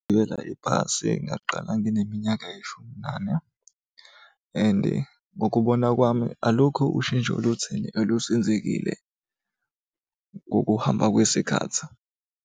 Gibela ibhasi ngaqala ngineminyaka eyishumi nane and ngokubona kwami alukho ushintsho olutheni olusenzekile ngokuhamba kwesikhathi.